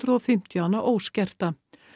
og fimmtíu hana óskerta